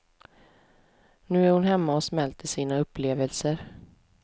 Nu är hon hemma och smälter sina upplevelser.